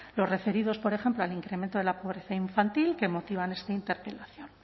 los referidos por ejemplo al incremento de la pobreza infantil que motiva esta interpelación